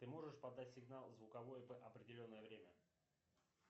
ты можешь подать сигнал звуковой в определенное время